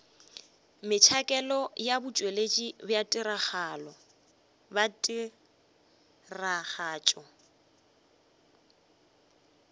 metšhakelo ya botšweletši bja tiragatšo